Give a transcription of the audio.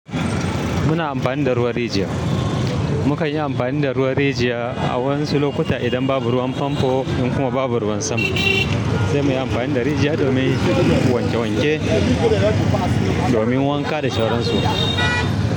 Muna amfani da ruwan rijiya. Mukanyi amfani da ruwan rijiya a wasu lokuta in babu ruwan fanfo ko kuma babu ruwan sama sai mu yi amfani da rijiya domin wanke wanke, domin wanka da sauran su.